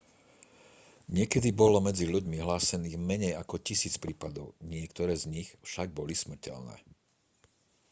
niekedy bolo medzi ľuďmi hlásených menej ako tisíc prípadov niektoré z nich však boli smrteľné